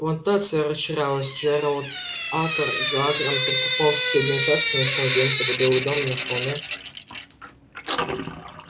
плантация расширялась джералд акр за акром прикупал соседние участки и настал день когда белый дом на холме